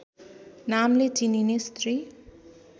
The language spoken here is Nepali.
नामले चिनिने स्त्री